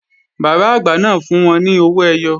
Bàbá àgbà náà fún wọn ní owó ẹyọ